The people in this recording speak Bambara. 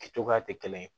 Kɛ cogoya tɛ kelen ye